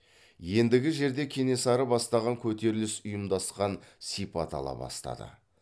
ендігі жерде кенесары бастаған көтеріліс ұйымдасқан сипат ала бастады